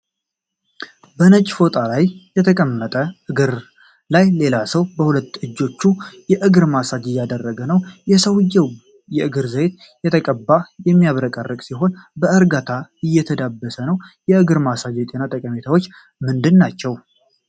በነጭ ፎጣ ላይ በተቀመጠ እግር ላይ፣ ሌላ ሰው በሁለት እጆቹ የእግር ማሳጅ እያደረገ ነው። የሰውዬው እግር ዘይት የተቀባና የሚያብረቀርቅ ሲሆን፣ በእርጋታ እየተዳበሰ ነው። የእግር ማሳጅ የጤና ጠቀሜታዎች ምንድን ናቸው?